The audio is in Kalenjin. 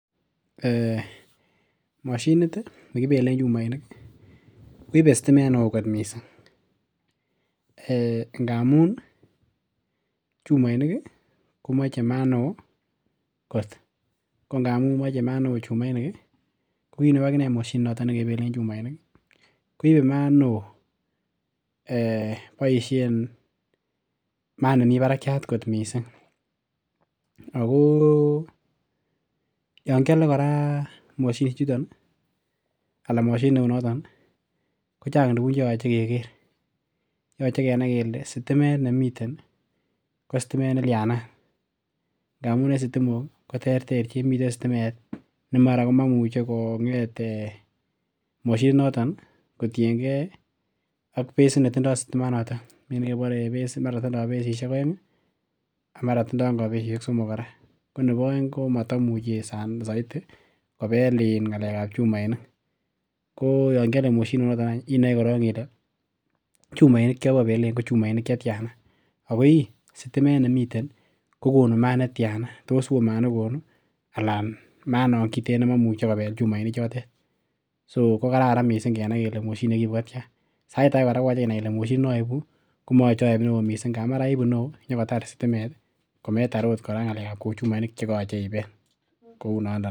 um Moshinit ih nekibelen chumoinik ibe stimet neoo kot missing amun chumoinik ih komoche maat neo kot ko ngamun moche maat neoo chumoinik ih ko kit neu akinee chumoinik ko kit neu akinee moshinit nekibelen chumoinik ih koibe maat neoo um boisien maat nemii barakiat kot missing. Ako yan kiole kora moshinisiek chuton ih anan moshinit neu noton ihko chang tuguk chemoche keker yoche kenai kele stimet nemiten ko stimet nelyanat ngamun en stimok ih koterterchin miten stimen ne mara momuche ko ngeet moshinit noton ih kotiengei ak besit netindoo stimanoton mii nekebore en base mi netindoo besisiek oeng ih ak mara tindo ngo besisiek somok kora ko nebo oeng komoto muche soiti kobel in ng'alek ab chumoinik ko yon kiole moshinit noton inoe korong ile chumoinik chobo belen ko chumoinik chetyana ako ih sitimet nemiten ih kokonu maat netyana toa woo maat nekonu anan maat nekiten nemomuche kobel chumoinik chotet so ko kararan kenai kele moshinit nekiibu kotyan sait age kora koyoche inai kole moshinit noibi komoyoche oib neoo missing amun mara iibu neoo konyokotar stimet kometar ot ng'alek ab chumoinik chekoyoche ibel kounondon